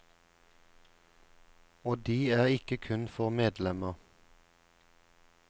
Og de er ikke kun for medlemmer.